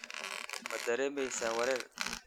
Ma dareemaysaa wareer?